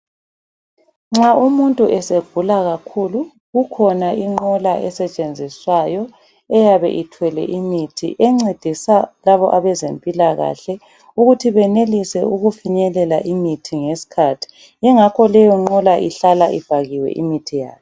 Nxa umuntu esegula kakhulu, kukhona inqola esetshenziswayo eyabe ithwele imithi encedisa laba abezempilakahle ukuthi benelise ukufinyelela imithi ngesikhathi. Yingakho leyo nqola ihlala ivaliwe imithi yayo.